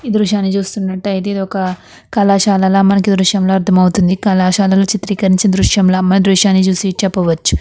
ఈ దృశ్యాన్ని చూస్తున్నట్టయితే ఇదొక కళాశాలల మనకి దృశ్యంలో అర్థం అవుతుంది కళాశాలలో చిత్రీకరించిన దృశ్యంల మన దృశ్యాన్ని చూసి చెప్పవచ్చు.